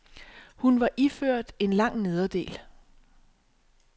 Hun var iført en lang nederdel.